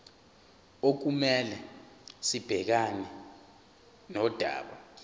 okumele sibhekane nodaba